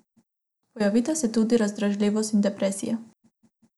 Pojavita se tudi razdražljivost in depresija.